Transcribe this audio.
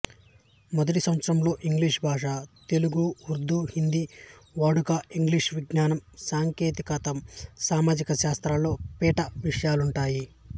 మొదటి సంవత్సరంలో ఇంగ్లీషు భాష తెలుగు ఉర్దూహిందీ వాడుక ఇంగ్లీషు విజ్ఞానం సాంకేతికం సామాజిక శాస్త్రములలో పీఠ విషయాలుంటాయి